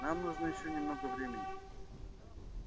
нам нужно ещё немного времени